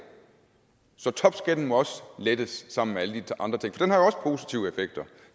så topskatten må også lettes sammen med alle de andre ting